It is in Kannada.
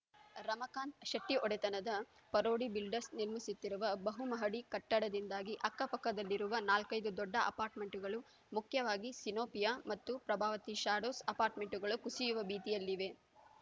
ರಮಕಾಂತ್‌ ಶೆಟ್ಟಿಒಡೆತನದ ಪರೋಡಿ ಬಿಲ್ಡರ್ಸ್ ನಿರ್ಮಿಸುತ್ತಿರುವ ಬಹುಮಹಡಿ ಕಟ್ಟಡದಿಂದಾಗಿ ಅಕ್ಕಪಕ್ಕದಲ್ಲಿರುವ ನಾಲ್ಕೈದು ದೊಡ್ಡ ಅಪಾರ್ಟ್‌ಮೆಂಟ್‌ಗಳು ಮುಖ್ಯವಾಗಿ ಸಿನೋಪಿಯಾ ಮತ್ತು ಪ್ರಭಾವತಿ ಶಾಡೋಸ್‌ ಅಪಾರ್ಟ್‌ಮೆಂಟ್‌ಗಳು ಕುಸಿಯುವ ಭೀತಿಯಲ್ಲಿವೆ